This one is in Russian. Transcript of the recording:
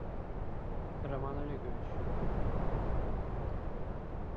роман олегович